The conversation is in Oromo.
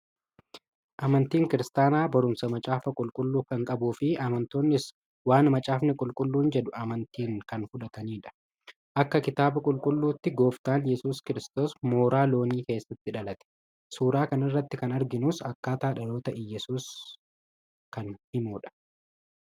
Amantiin kiristaanaa barumsa macaafa qulqulluu kan qabuu fi amantoonnis waan macaafni qulqulluun jedhu amantiin kannfudhatanidha. Akka kitaaba qulqulluutti gooftaan Yesus Kiristoos mooraa loonii keessatti dhalate. Suuraa kanarratti kan arginus akkataa dhaloota Yesus kan himudha.